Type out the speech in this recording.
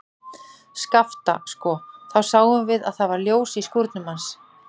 Skapta, sko, þá sáum við að það var ljós í skúrnum hans.